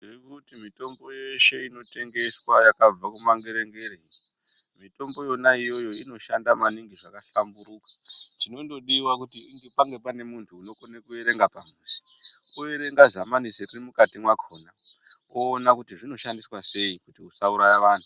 Ndiri kuti mitombo yeshe inotengeswa yakabva kumangere ngere. Mitombo yona iyoyo inoshanda maningi zvakahlamburuka. Chinondodiwa kuti pange pane muntu unokona kuerenga padhuze, kuerenga zamanise riri mukati mwakhona kuona kuti rinoshandiswa sei usauraya vantu.